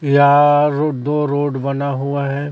या दो रोड बना हुआ है।